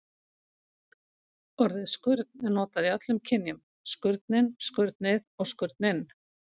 Orðið skurn er notað í öllum kynjum: skurnin, skurnið og skurninn.